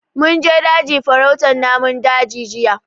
Mun je daji farautan namun daji jiya